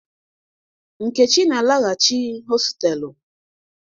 Nkechi na-alaghachi hostelu.